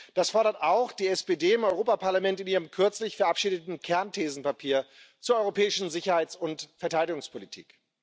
Das fordert auch die SPD im Europäischen Parlament in ihrem kürzlich verabschiedeten Kernthesenpapier zur europäischen Sicherheits und Verteidigungspolitik.